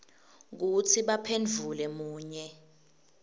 kutsi baphendvule munye